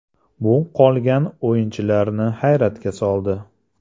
Bu qolgan o‘yinchilarni hayratga soldi.